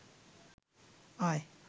আয়